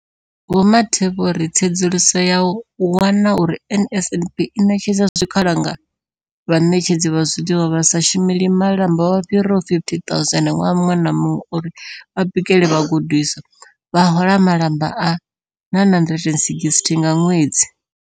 Vho Mathe vho ri, Tsedzuluso yo wana uri NSNP i ṋetshedza zwikhala kha vhaṋetshedzi vha zwiḽiwa vha sa shumeli malamba vha fhiraho 50 000 ṅwaha muṅwe na muṅwe uri vha bikele vhagudiswa, vha hola malamba a R960 nga ṅwedzi.